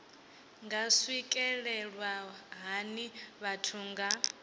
nga swikelelwa hani vhathu nga